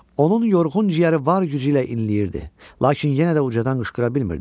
Onun yorğun ciyəri var gücü ilə inləyirdi, lakin yenə də ucadan qışqıra bilmirdi.